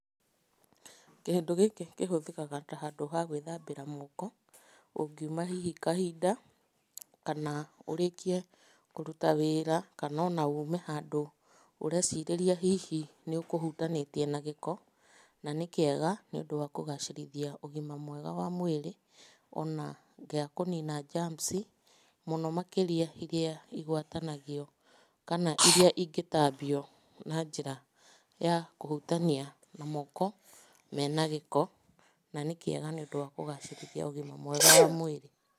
Kĩndũ gĩkĩ kĩhũthĩkaga ta handũ ha gwĩthambĩra moko. Ũngiuma hihi kahinda kana ũrĩkie kũruta wĩra kana o na ume handũ ũreecirĩria hihi nĩ ũkũhutanĩtie na gĩko. Na nĩ kĩega nĩũndũ wa kũgacĩrithia ũgima mwega wa mwĩrĩ o na gĩa kũnina germsi, mũno makĩria iria igwatanagio kana iria ingĩtambio na njĩra ya kũhutania na moko mena gĩko, na nĩ kĩega nĩũndũ wa kũgacĩrithia ũgima mwega wa mwĩrĩ.